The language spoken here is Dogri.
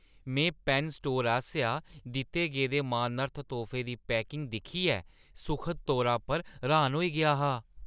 में पैन्न स्टोर आसेआ दित्ते गेदे मानार्थ तोह्फे दी पैकिंग दिक्खियै सुखद तौरा पर र्‌हान होई गेआ हा।